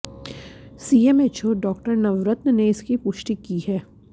CMHO Dr Navratan ने इसकी पुष्टि की है